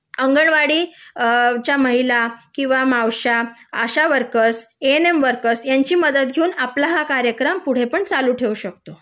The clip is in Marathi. अंगणवाडीच्या महिला किंवा मावश्या अशा workers A N M workers यांची मदत घेऊन आपला हा कार्यक्रम पुढे पण चालू ठेवू शकतो